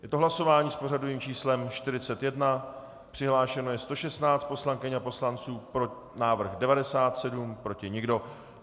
Je to hlasování s pořadovým číslem 41, přihlášeno je 116 poslankyň a poslanců, pro návrh 97, proti nikdo.